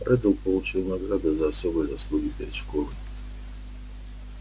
реддл получил награду за особые заслуги перед школой